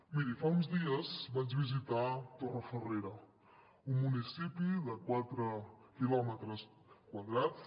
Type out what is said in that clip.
miri fa uns dies vaig visitar torrefarrera un municipi de quatre quilòmetres quadrats